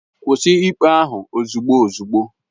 Kwụsị ikpe ahu ozugbo ozugbo!